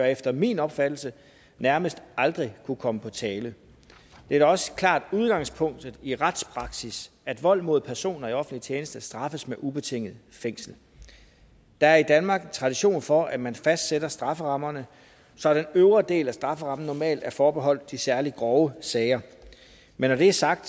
efter min opfattelse nærmest aldrig kunne komme på tale det er da også klart udgangspunktet i retspraksis at vold mod personer i offentlig tjeneste straffes med ubetinget fængsel der er i danmark tradition for at man fastsætter strafferammerne så den øvre del af strafferammen normalt er forbeholdt de særlig grove sager men når det er sagt